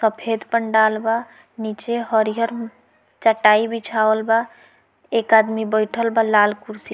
सफ़ेद पंडाल बा निचे हरिहर चटाई बीछावल बा एक आदमी बइठल बा लाल कुर्सी --